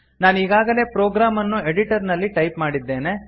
ನಾನೀಗಾಗಲೇ programme ಅನ್ನು editor ನಲ್ಲಿ type ಮಾಡಿದ್ದೇನೆ